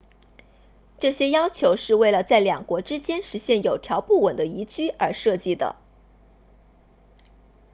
这些要求是为了在两国之间实现有条不紊的移居而设计的